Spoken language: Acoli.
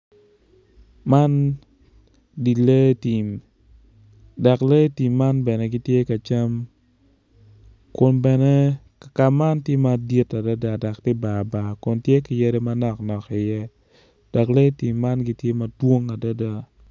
Man di lee tim dok lee tim man bene gitye ka cam kun bene kaka man tye madit adada dok tye bar bar kun tye ki yadi manok nok iye dok lee tim man gitye madwong adada.